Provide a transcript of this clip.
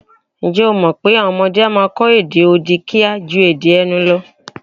Ǹjẹ́ o mọ̀̀ pé àwọn ọmọdé a máa kọ èdè odi kíá ju èdè ẹnu lọ?